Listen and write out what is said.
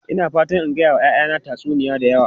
Ina fatan in gaya wa 'ya'yana tatsuniyoyi da yawa.